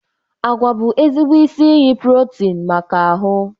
Agwa bụ ezigbo isi iyi protin maka ahụ.